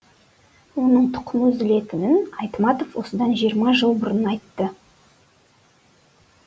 оның тұқымы үзілетінін айтматов осыдан жиырма жыл бұрын айтты